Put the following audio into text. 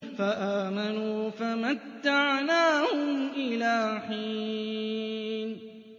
فَآمَنُوا فَمَتَّعْنَاهُمْ إِلَىٰ حِينٍ